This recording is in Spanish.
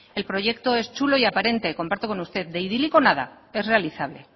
el proyecto es chulo y aparente comparto con usted de idílico nada es realizable